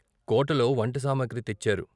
కోటలో వంటసాసుగ్రి తెచ్చారు.